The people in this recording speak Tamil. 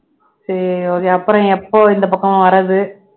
சரி அப்புறம் எப்போ இந்தப் பக்கம் வர்றது